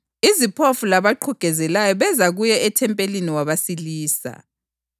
Iziphofu labaqhugezelayo beza kuye ethempelini wabasilisa.